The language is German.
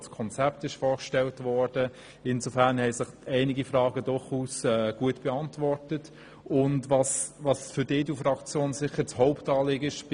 Dabei hat sich auch einiges zum Hauptanliegen der EDU-Fraktion bei dieser Motion beantwortet.